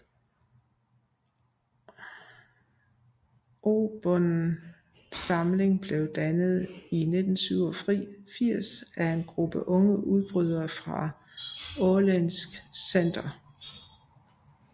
Obunden samling blev dannet i 1987 af en gruppe unge udbrydere fra Åländsk Center